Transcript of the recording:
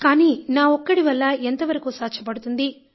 కానీ నా ఒక్కడి వల్ల ఎంతవరకు సాధ్యపడుతుంది